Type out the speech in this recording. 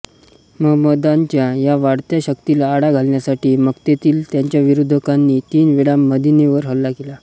महंमदांच्या या वाढत्या शक्तीला आळा घालण्यासाठी मक्केतील त्यांच्या विरोधकांनी तीन वेळा मदिनेवर हल्ला केला